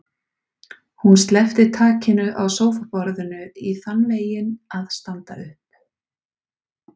Hún sleppti takinu á sófaborðinu í þann veginn að standa upp.